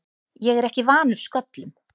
Ég er ekki vanur sköllum.